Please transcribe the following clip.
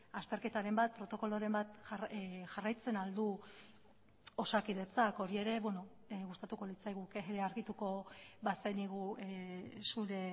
azterketaren bat protokoloren bat jarraitzen ahal du osakidetzak hori ere gustatuko litzaiguke argituko bazenigu zure